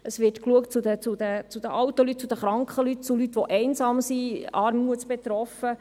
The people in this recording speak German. Es wird zu den alten und kranken Leuten geschaut sowie zu Leuten, die einsam sind oder armutsbetroffen.